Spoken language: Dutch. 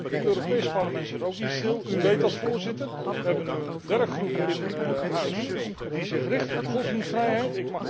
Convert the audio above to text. Ten slotte, het Europees Parlement zit ook niet stil, u weet dat Voorzitter we hebben nu een werkgroep in huis die zich richt op godsdienstvrijheid.